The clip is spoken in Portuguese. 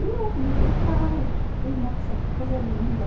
E eh hum eu ficava, ei nossa, que coisa linda.